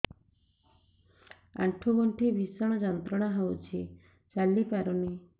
ଆଣ୍ଠୁ ଗଣ୍ଠି ଭିଷଣ ଯନ୍ତ୍ରଣା ହଉଛି ଚାଲି ପାରୁନି